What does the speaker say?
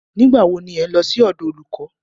Nígbà wo ni ẹ̀ ń lọ sí ọ̀dọ̀ olùkọ́?